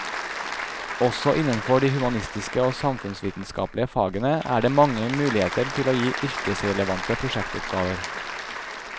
Også innenfor de humanistiske og samfunnsvitenskapelige fagene er det mange muligheter til å gi yrkesrelevante prosjektoppgaver.